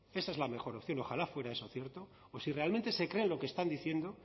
esa es la mejor opción ojalá fuera eso cierto o si realmente se creen lo que están diciendo